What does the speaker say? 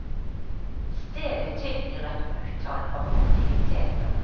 Stedet tilbyr et utall av aktiviteter.